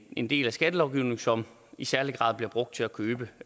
en del af skattelovgivningen som i særlig grad bliver brugt til at købe